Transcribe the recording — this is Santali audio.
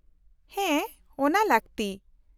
-ᱦᱮᱸ, ᱚᱱᱟ ᱞᱟᱹᱠᱛᱤ ᱾